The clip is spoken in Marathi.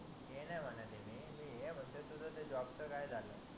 ते नाही म्हणत आहे मी मी हे म्हणतोय तुझ ते जॉब च काय झाल